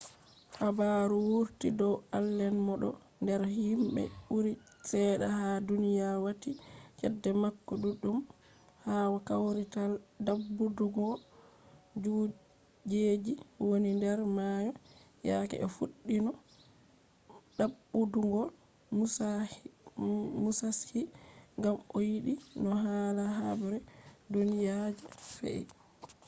habaru wurti dow allen mo ɗo nder himɓe ɓuri cede ha duniya wati cede mako ɗuɗɗum ha kawrital ɗaɓɓutuggo kujeji woni nder mayo yake o fuɗɗino ɗaɓɓutuggo musashi gam o yiɗi no hala habre duniya je fe’i